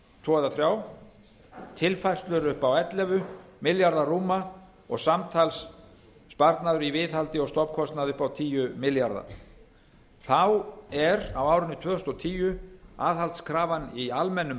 tvo eða þrjá tilfærslur upp á ellefu milljarða rúma og samtals sparnaður í viðhaldi og stofnkostnaði upp á tíu milljarða þá er á árinu tvö þúsund og tíu aðhaldskrafan í almennum